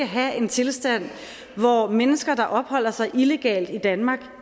have en tilstand hvor mennesker der opholder sig illegalt i danmark